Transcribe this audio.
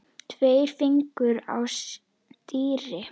Tveir fingur á stýri.